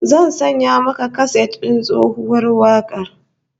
Zan sanya maka kaset din tsohuwar wakar